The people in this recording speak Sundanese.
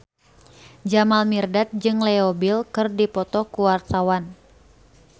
Jamal Mirdad jeung Leo Bill keur dipoto ku wartawan